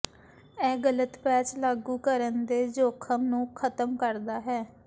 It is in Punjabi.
ਇਹ ਗਲਤ ਪੈਚ ਲਾਗੂ ਕਰਨ ਦੇ ਜੋਖਮ ਨੂੰ ਖਤਮ ਕਰਦਾ ਹੈ